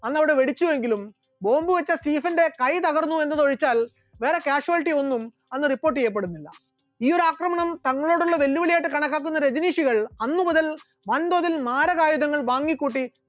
അന്ന് അവിടെ വേടിച്ചുവെങ്കിലും bomb വെച്ച സീസന്റെ കൈ തകർന്നു എന്നതൊഴിച്ചാൽ വേറെ casuality ഒന്നും അന്ന് report ചെയ്യപ്പെടുന്നില്ല, ഈ ഒരു ആക്രമണം തങ്ങളോടുള്ള വെല്ലുവിളിയായിട്ട് കണക്കാക്കുന്ന രജനീഷുകൾ അന്ന് മുതൽ വൻതോതിൽ മാരകായുധങ്ങൾ വാങ്ങിക്കൂട്ടി.